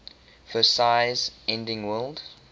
versailles ending world